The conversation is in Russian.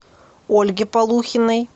ольге полухиной